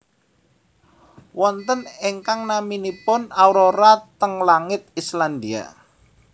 Wonten ingkang naminipun aurora ten langit Islandia